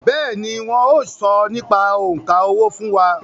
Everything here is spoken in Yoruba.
Bẹ́ẹ̀ni, wọn yóò sọ nípa òǹkà owó fún wa